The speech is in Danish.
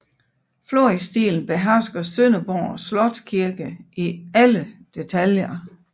Florisstilen behersker Sønderborg Slotskirke i alle detaljer